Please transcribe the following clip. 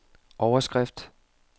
overskrift